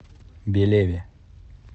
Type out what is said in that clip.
белеве